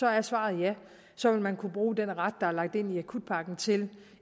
er svaret ja så vil man kunne bruge den ret der er lagt ind i akutpakken til